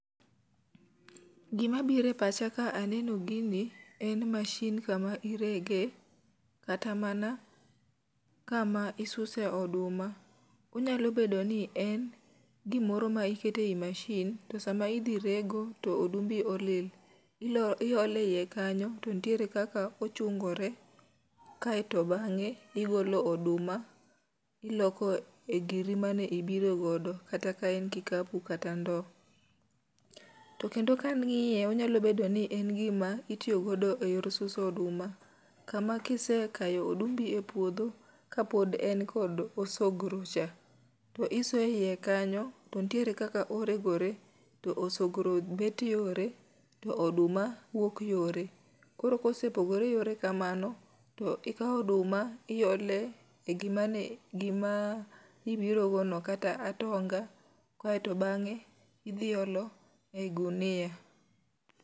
Gima bire pacha ka aneno gini en mashin kama irege, kata mana kama isuse oduma. Onyalo bedo ni en gimoro ma ikete i mashin, to sama idhi rego to odumbi olil. Ilo iole iye kanyo to nitiere kaka ochungore. Kaeto bang'e igolo oduma iloko e giri mane ibirogodo, kata ka en kikapu kata ndo. To kendo kan ng'iye onyalo bedo ni en gima itiyo godo e yor suso oduma, kama kise kayo odumbi e puodho ka pod en kod osogro cha. To isoye e iye kanyo, to ntiere kaka oregore, to osogro bet yore to oduma bet yore. Koro kose pogore yore kamano, to ikawo oduma iole e gima ne gima ibirogo no kata atonga. Kaeto bang'e idhi olo e gunia.